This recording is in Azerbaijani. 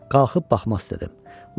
Qalxıb baxmaq istədim.